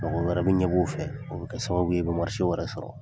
Mago wɛrɛ bɛ ɲɛb'o fɛ, o bɛ kɛ sababu ye i bɛ wɛrɛ sɔrɔ.